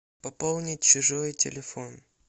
пополнить чужой телефон